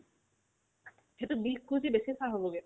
সেটোত বিছকোটিৰ বেছি চা হ'বগে